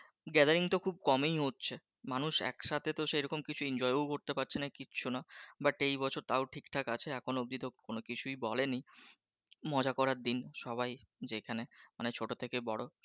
gathering টা তো খুব কমই হচ্ছে মানুষ একসাথে তো সেরকম কিছু enjoy ও করতে পারছে না কিচ্ছু না বাট এই বছর তো তাও ঠিকঠাক আছে এখনও অব্দি তো কোনো কিছু বলেনি মজা করার দিন সবাই যেখানে ছোটো থেকে বড়,